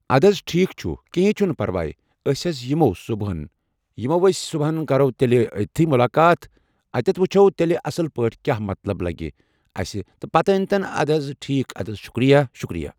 اَدٕ حض ٹھیٖک چھُ کِہیٖنۍ چھُنہٕ پَرواے أسۍ حظ یِمو صُبحن یِمو أسہِ تہِ صُبحن کَرو تیٚلہِ أتتھٕے مُلاقات أتتھٕ وٕچھو تیٚلہِ اَصٕل پٲٹھۍ کیٛاہ مطلب لَگہِ اَسہِ پَتہٕ اَتٮ۪ن تہٕ اَدٕ حظ ٹھیٖک اَدٕ حظ شُکریہ شُکریہ